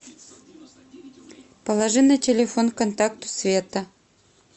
положи на телефон контакту света